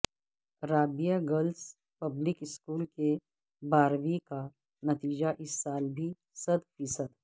Rabia girls public school کے بارہویں کا نتیجہ اس سال بھی صد فیصد